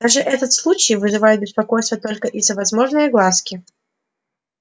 даже этот случай вызывает беспокойство только из-за возможной огласки